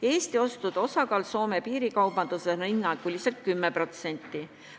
Eesti ostude osakaal Soome piirikaubanduses on hinnanguliselt 10%.